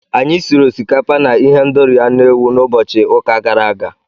Anyị siri osikapa na ihendori anụ ewu n'ụbọchị ụka gara aga.